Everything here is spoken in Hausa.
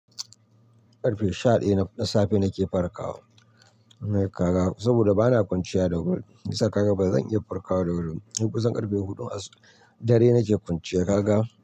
Ƙarfe shaɗaya na safe nake farkawa na yi kaga, saboda bana kwanciya da wuri. Hi sa kaga bazan iya farkawa da wuri ba. Sai kusan ƙarfe huɗu ashubn dare nake kwanciya kaga.